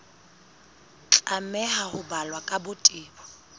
tlameha ho balwa ka botebo